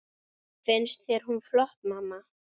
Finnst þér hún flott, mamma?